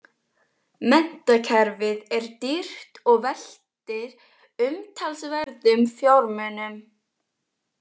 Menntakerfið er dýrt og veltir umtalsverðum fjármunum.